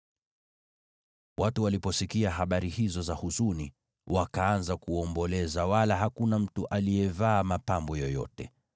Watu waliposikia habari hizo za huzuni, wakaanza kuomboleza wala hakuna mtu aliyevaa mapambo yoyote.